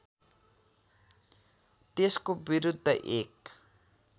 त्यसको विरुद्ध एक